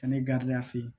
Kɛnɛ gariya fe yen